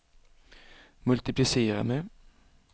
multiplicera med